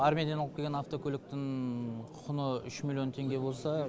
армениядан алып келген автокөліктің құны үш миллион теңге болса